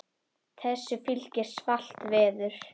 Þessu fylgir svalt veður.